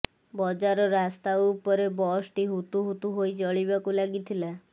ବଜାର ରାସ୍ତା ଉପରେ ବସଟି ହୁତୁହୁତୁ ହୋଇ ଜଳିବାକୁ ଲାଗିଥିଲା